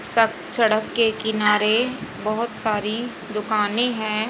स सड़क के किनारे बहुत सारी दुकानें हैं।